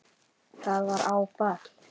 Það var áfall.